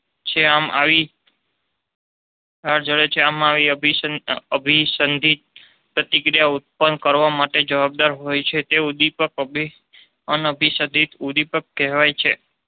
છે. આમ આવી લાળ જયારે છે. આમ આવી અભિસંપિત પ્રતિક્રિયા ઉત્પન્ન કરવા માટે જવાબદાર હોય તે ઉદીપકને અનઅભિસહિત ઉદીપક કહેવાય છે.